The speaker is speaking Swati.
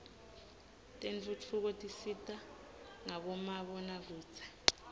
tentfutfuko tisita ngabomabonakudze